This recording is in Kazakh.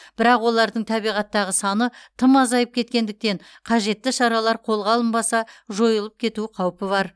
бірақ олардың табиғаттағы саны тым азайып кеткендіктен қажетті шаралар қолға алынбаса жойылып кету қаупі бар